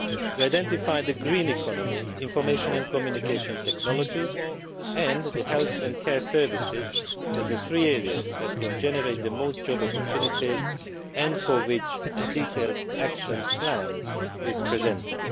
We identified the green economy, information and communication technologies, and the health and care services as the three areas that can generate the most job opportunities and for which a detailed action plan is presented.